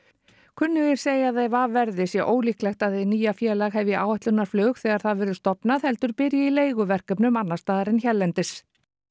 kunnugir segja að ef af verði sé ólíklegt að hið nýja félag hefji áætlunarflug þegar það verður stofnað heldur byrji í leiguverkefnum annars staðar en hérlendis